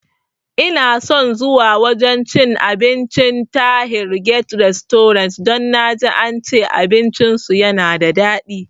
Inason zuwa wajan cin abincin Tahir guest restaurant don naji ance abinci su yana da dadi